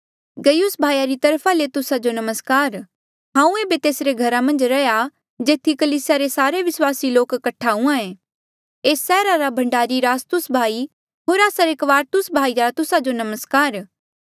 गयुस भाई री तरफा ले तुस्सा जो नमस्कार हांऊँ ऐबे तेसरे घरा मन्झ रहा जेथी कलीसिया रे सारे विस्वासी लोक कठा हुयें एस सैहरा रा भंडारी इरास्तुस भाई होर आस्सा रे क्वारतुस भाई रा तुस्सा जो नमस्कार